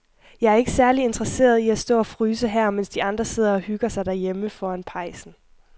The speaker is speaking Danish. Jeg er ikke særlig interesseret i at stå og fryse her, mens de andre sidder og hygger sig derhjemme foran pejsen.